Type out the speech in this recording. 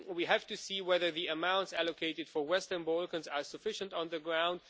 we have to see whether the amounts allocated for Western Balkans are sufficient on the ground.